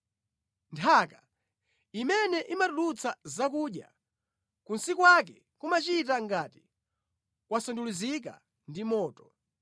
Nthaka, imene imatulutsa zakudya, kunsi kwake kumachita ngati kwasandulizika ndi moto;